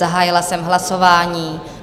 Zahájila jsem hlasování.